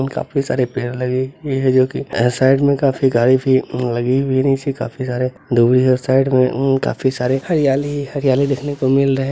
और काफी सारे पेड़ लगे जो की साइड में काफी गाड़ी भी लगी हुई नीचे काफी सारे दूभी हैं और साइड में उम्म काफी सारे हरियाली ही हरियाली देखने को मिल रहे हैं।